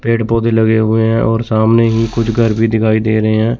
पेड़ पौधे लगे हुए हैं और सामने ही कुछ घर भी दिखाई दे रहे हैं।